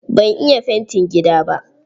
Ban iya fanti gida ba.